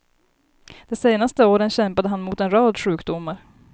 De senaste åren kämpade han mot en rad sjukdomar.